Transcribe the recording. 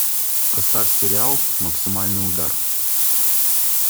поставь сериал максимальный удар